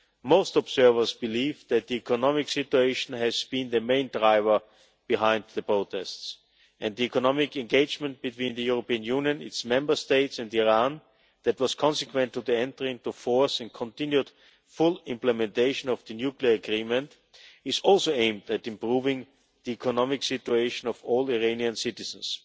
Most observers believe that the economic situation has been the main driver behind the protests, and the economic engagement between the European Union, its Member States and Iran, that was consequent to the entry into force and continued full implementation of the nuclear agreement is also aimed at improving the economic situation of all Iranian citizens.